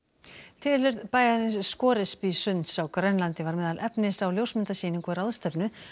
tilurð bæjarins Scoresbysunds á Grænlandi var meðal efnis á ljósmyndasýningu og ráðstefnu